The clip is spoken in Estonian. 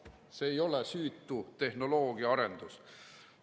See ei ole süütu tehnoloogiaarendus.